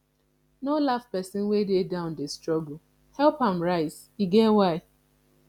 no laugh pesin wey dey down dey struggle help am rise e get why